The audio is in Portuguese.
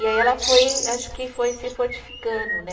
E aí ela foi, acho que foi se fortificando, né?